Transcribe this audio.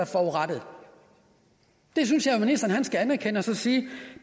forurettet det synes jeg ministeren skal anerkende og så sige